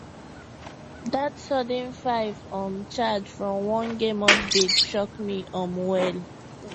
that sudden five um charge from one game update shock me um well